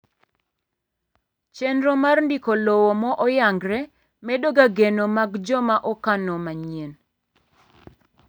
chenro mar ndiko lowo ma oyangre medo ga geno mag joma okano manyieny